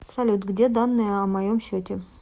салют где данные о моем счете